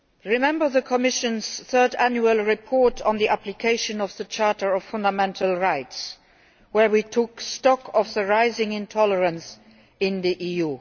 Remember the Commission's third annual report on the application of the Charter of Fundamental Rights, where we took stock of the rising intolerance in the EU?